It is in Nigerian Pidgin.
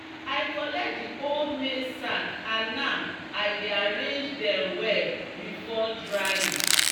"i collect di old maize sack and now i dey arrange dem well before drying."